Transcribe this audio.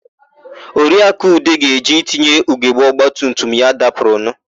Oriakụ Ude ga-eje itinye ugogbe ọgbatumtum ya dapụrụnụ.